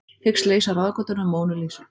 Hyggst leysa ráðgátuna um Mónu Lísu